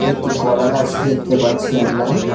একটি কলাগাছ দেখতে পাচ্ছি আমরা।